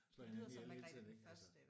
Slå hinanden ihjel hele tiden ik altså